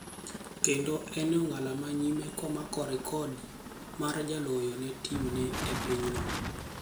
Kendo, en eong'ala manyime komako rekodi mar jaloyo ne timne e pinyeno.